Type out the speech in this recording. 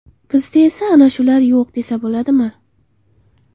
Bizda esa ana shular yo‘q” desa bo‘ladimi.